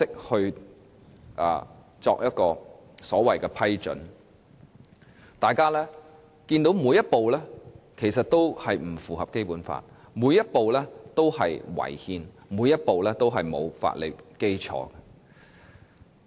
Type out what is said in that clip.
大家看到過程當中每一步也是不符合《基本法》，每一步也是違憲，每一步也是沒有法理基礎的。